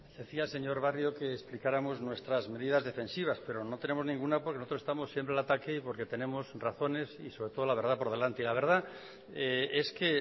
decía señor barrio que explicáramos nuestras medidas defensivas pero no tenemos ninguna porque nosotros estamos siempre al ataque y porque tenemos razones y sobre todo la verdad por delante y la verdad es que